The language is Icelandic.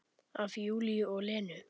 Af Júlíu og Lenu.